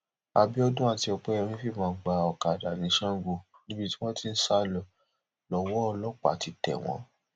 àbíọdún àti opẹyẹmí fìbọn gba ọkadà ní sango níbi tí wọn ti ń sá lọ lọwọ ọlọpàá ti tẹ wọn